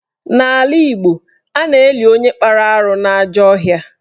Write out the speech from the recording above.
N'ala Igbo, a na-eli onye kpara arụ n'ajọ ọhịa